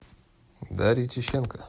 дарье тищенко